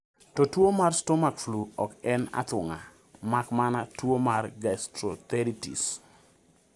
To tuwo mar stomach flu ok en athung'a mak mana tuwo mar gastroenteritis.